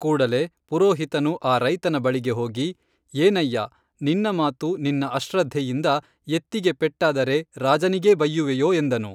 ಕೂಡಲೇ ಪುರೋಹಿತನು ಆ ರೈತನ ಬಳಿಗೆ ಹೋಗಿ ಏನಯ್ಯಾ ನಿನ್ನ ಮಾತು ನಿನ್ನ ಅಶ್ರದ್ದೆಯಿಂದ ಎತ್ತಿಗೆ ಪೆಟ್ಟಾದರೆ ರಾಜನಿಗೆ ಬಯ್ಯುವಿಯೋ ಎಂದನು